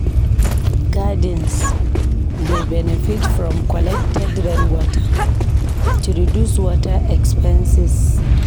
Gardens dey benefit from collected rainwater to reduce water expenses.